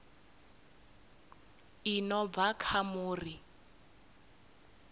i no bva kha muri